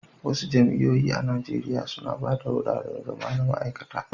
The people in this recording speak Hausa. Wasu jami'o'i a Najeriya suna ba da wuraren zama na ma'aikata.